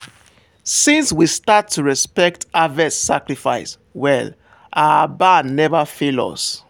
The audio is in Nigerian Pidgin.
since we start to respect harvest sacrifice well our barn never fail us.